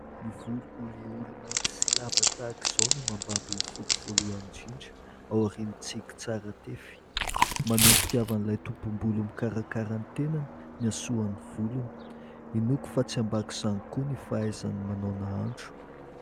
Ny volo olioly mainty sy lava tahaka izao no mambabo ny foko voalohany indrindra, aorian'ny tsiky tsara tefy. Maneho ny fitiavan'ilay tompom-bolo mikarakara ny tenany ny hasoan'ny volony. Inoako fa tsy ambak'izany koa ny fahaizany manao nahandro.